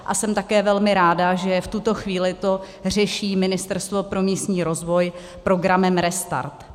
A jsem také velmi ráda, že v tuto chvíli to řeší Ministerstvo pro místní rozvoj programem Restart.